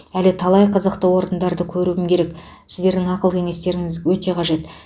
әлі талай қызықты орындарды көруім керек сіздердің ақыл кеңестеріңіз өте қажет